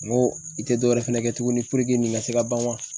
N go i te dɔwɛrɛ fɛnɛ kɛ tuguni nin ka se ka ban wa?